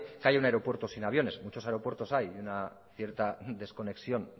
que hay un aeropuerto sin aviones muchos aeropuertos hay de una cierta desconexión